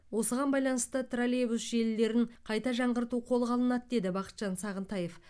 осыған байланысты троллейбус желілерін қайта жаңғырту қолға алынады деді бақытжан сағынтаев